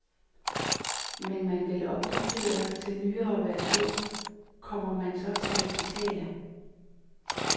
Men vil man opdatere til nyere version, kommer man så til at betale?